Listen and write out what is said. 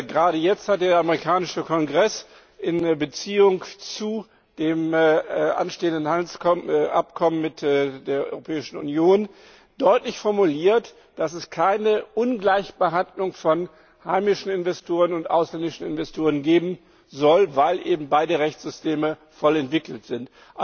Gerade jetzt hat der amerikanische Kongress in Beziehung zu dem anstehenden Handelsabkommen mit der Europäischen Union deutlich formuliert, dass es keine Ungleichbehandlung von heimischen Investoren und ausländischen Investoren geben soll, weil eben beide Rechtssysteme voll entwickelt sind.